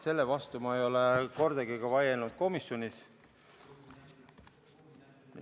Selle vastu ma ei ole kordagi vaielnud ka komisjonis.